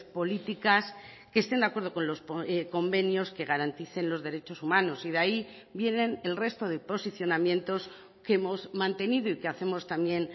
políticas que estén de acuerdo con los convenios que garanticen los derechos humanos y de ahí vienen el resto de posicionamientos que hemos mantenido y que hacemos también